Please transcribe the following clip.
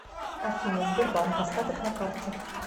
афина сбербанк остаток на карте